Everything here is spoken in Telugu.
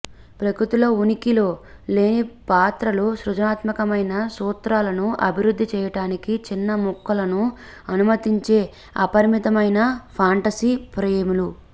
ప్రకృతిలో ఉనికిలో లేని పాత్రలు సృజనాత్మకమైన సూత్రాలను అభివృద్ధి చేయటానికి చిన్న ముక్కలను అనుమతించే అపరిమితమైన ఫాంటసీ ఫ్రేములు